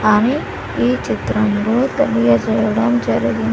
ఆని ఈ చిత్రంలో తెలియజేయడం జరిగింది.